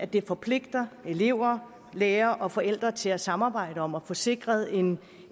det forpligter elever lærere og forældre til at samarbejde om at få sikret en